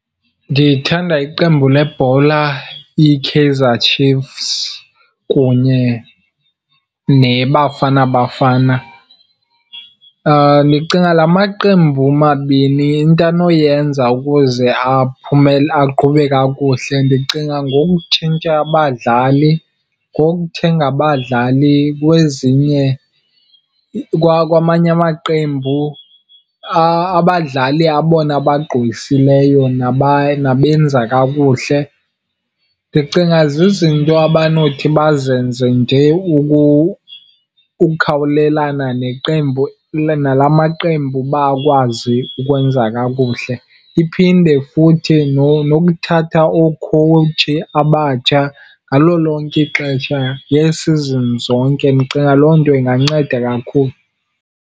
Ndithanda iqembu lebhola iKaizer Chiefs kunye neBafana Bafana. Ndicinga la maqembu mabini into anoyenza ukuze aqhube kakuhle ndicinga ngokutshintsha abadlali, ngokuthenga abadlali kwezinye, kwamanye amaqembu, abadlali abona bagqwesileyo nabenza kakuhle. Ndicinga zizinto abanothi bazenze nje ukukhawulelana neqembu, nala maqembu uba akwazi ukwenza kakuhle. Iphinde futhi nokuthatha ookhowutshi abatsha ngalo lonke ixesha ngee-seasons zonke, ndicinga loo nto inganceda kakhulu.